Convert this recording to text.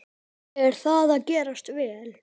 Er það að gefast vel?